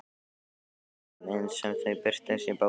Jónasar í þeirri mynd sem þau birtust í bók Sturlu?